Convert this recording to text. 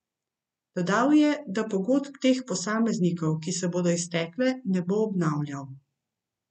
Dodal je, da pogodb teh posameznikov, ki se bodo iztekle, ne bo obnavljal.